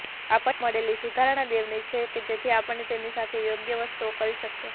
આપણને મળેલી સુધારણા દેવની રીત છે કે જેનાથી આપણે તેમની સાથે યોગ્ય વસ્તુઓ કરી શકીએ